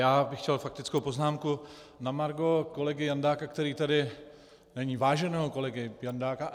Já bych chtěl faktickou poznámku na margo kolegy Jandáka, který tady není, váženého kolegy Jandáka.